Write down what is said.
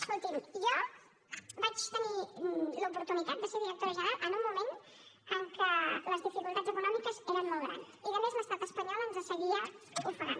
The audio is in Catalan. escolti’m jo vaig tenir l’oportunitat de ser directora general en un moment en què les dificultats econòmiques eren molt grans i a més l’estat espanyol ens seguia ofegant